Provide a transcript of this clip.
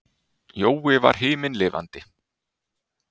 Jói var himinlifandi.